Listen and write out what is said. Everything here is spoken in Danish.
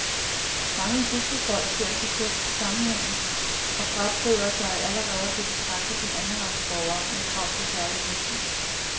Mange bygdefolk ser selv sammenhængen og frabeder sig allerede at blive betragtet som andenrangs borgere med krav på særlige hensyn.